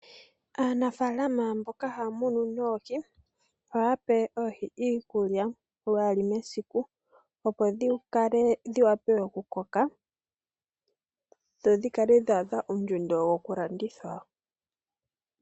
Aanafalama mboka haya munu noohi ohaya pe oohi iikulya, lwaali mesiku opo dhi wape okukoka dho dhi kale dha adha ondjundo yoku landithwa.